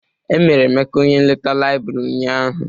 E mere Emeka onye nleta laịbrị ụnyaahụ.